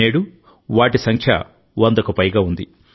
నేడు వాటి సంఖ్య వందకు పైగా ఉంది